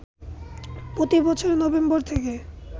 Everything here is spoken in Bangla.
প্রতি বছর নভেম্বর থেকে